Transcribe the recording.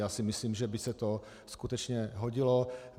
Já si myslím, že by se to skutečně hodilo.